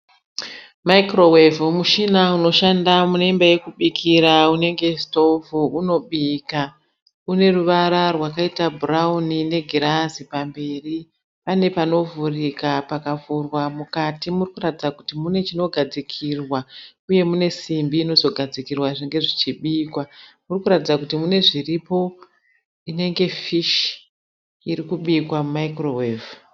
Microwave mushina unoshanda muneimba yekubikira, unengestovu unobika. Uneruvara rwakaita brown negirazi pamberi. panepanovhurika pakavurwa mukati parikuratidza kuti munemunogadzikirwa uye munesimbi inogadzikirwa zvinenge zvichibika uratidza kutipanezviripo zvirikubikwa inenge fish irimumicro wave